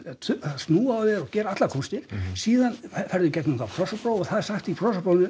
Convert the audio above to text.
snúa á þér og gera allar kúnstir síðan ferðu í gegnum krossapróf og það er sagt í